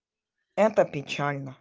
это печально